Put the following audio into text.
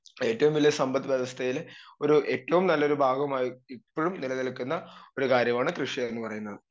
speaker 2 ഏറ്റവും വലിയ സമ്പദ്വ്യവസ്ഥയില് ഒരു ഏറ്റോം നല്ലൊരു ഭാഗമായി ഇപ്പഴും നിലനിൽക്കുന്ന ഒരു കാര്യമാണ് കൃഷിയെന്ന് പറയുന്നത്